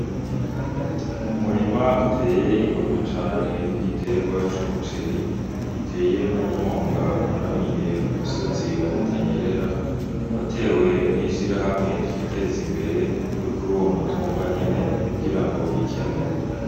Umurima uteye igomwe cane w'igiterwa c'umuceri giyeteye mu mwonga waramiye ku musozi wa Butanyerera watewe n'ishirahamwe twiteze imbere ryo kuruwo mutumba nyene kugira bikenure.